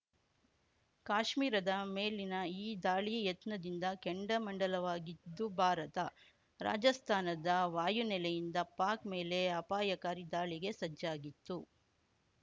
ಕಾಶ್ಮೀರದ ಮೇಲಿನ ಈ ದಾಳಿ ಯತ್ನದಿಂದ ಕೆಂಡಾಮಂಡಲವಾಗಿದ್ದು ಭಾರತ ರಾಜಸ್ತಾನದ ವಾಯುನೆಲೆಯಿಂದ ಪಾಕ್‌ ಮೇಲೆ ಅಪಾಯಕಾರಿ ದಾಳಿಗೆ ಸಜ್ಜಾಗಿತ್ತು